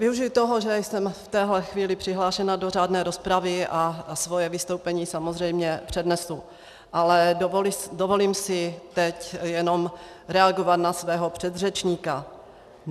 Využiji toho, že jsem v téhle chvíli přihlášena do řádné rozpravy, a svoje vystoupení samozřejmě přednesu, ale dovolím si teď jenom reagovat na svého předřečníka.